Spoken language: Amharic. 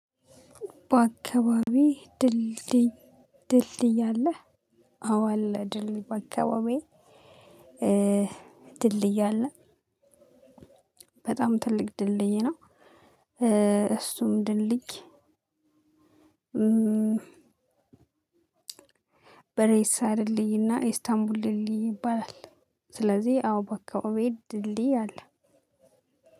በአካባቢው ድልድይ ድልድይ አለ። አወ አለ ድልድይ በአካባቢየ። ድልድይ አለ። በጣም ትልቅ ድልድይ ነው። እሱም ድልድይ በሬሳ ድልድይና ኢስታንቡል ድልድይ ይባላል። ስለዚህ አዎ በአከባቢየ ድልድይ አለ።